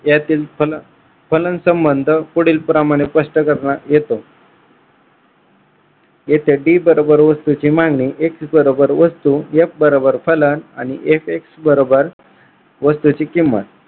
यातील फलन संबंध पुढीलप्रमाणे स्पष्ट करण्यात येतो येथे D बरोबर वस्तूची मागणी X बरोबर वस्तू F बरोबर फलन आणि FX बरोबर वस्तूची किंमत